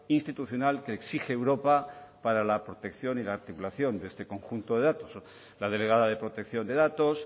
institucional que exige europa para la protección y la articulación de este conjunto de datos la delegada de protección de datos